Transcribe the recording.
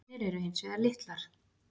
Eignir eru hins vegar litlar.